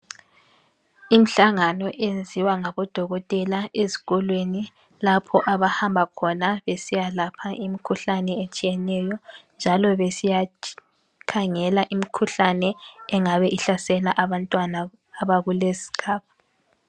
Imihlangano eyenziwa ngabodokotela ezikolweni lapho abahamba khona besiyalapha imikhuhlane etshiyeneyo njalo besiyakhangela imikhuhlane engabe ihlasela abantwana abakulesisigaba.